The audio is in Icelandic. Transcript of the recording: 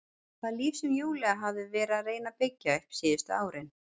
Það líf sem Júlía hafði verið að reyna að byggja upp síðustu árin.